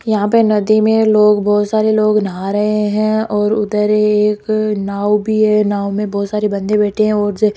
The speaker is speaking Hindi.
यहां पे नदी में लोग बहुत सारे लोग नहा रहे हैं और उधर एक नाव भी है नाव में बहुत सारे बंदे बैठे हैं ओर ज --